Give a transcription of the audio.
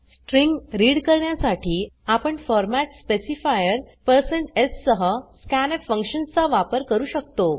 string read करण्यासाठी आपण format specifiers सह scanf फंक्शन चा वापर करू शकतो